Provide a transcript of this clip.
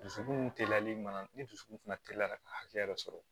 Dusukun teliyalen ma ni dusukun fana teliya ka hakɛ yɛrɛ sɔrɔ